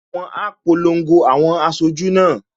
Wọn á polongo àwọn aṣojú náà